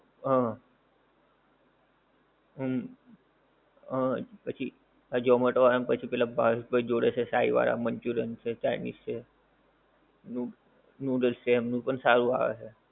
હમ હમ હમ પછી zomato વાળાને પછી પેલા ભાવેશભાઈ જોડે છે સાઈ વાળા manchurian છે chinese છે noodles છે એમનું પણ સારું આવે છે.